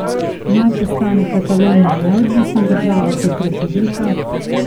Naj postane Katalonija neodvisna država kot republika?